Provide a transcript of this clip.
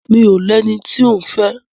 Mi ò lẹni tí òún fẹ́.